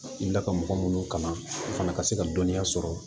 N da ka mɔgɔ minnu kalan o fana ka se ka dɔnniya sɔrɔ